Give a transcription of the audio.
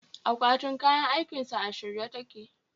Akwatin kayan aikinsa a shirye take